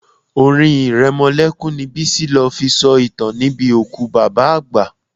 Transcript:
Orin iremolekun ni Bisi lo fi sọ ìtàn níbi òkú bàbá àgbà.